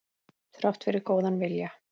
Þrátt fyrir góðan vilja.